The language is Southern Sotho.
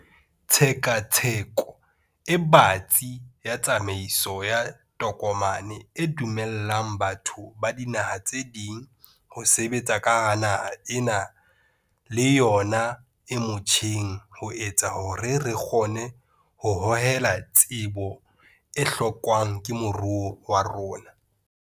Tshekatsheko e batsi ya tsamaiso ya tokomane e dumellang batho ba dinaha tse ding ho sebetsa ka hara naha ena le yona e motjheng ho etsa hore re kgone ho hohela tsebo e hlokwang ke moruo wa rona.